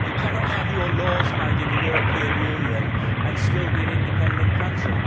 You cannot have your laws made in the European Union and still be an independent country.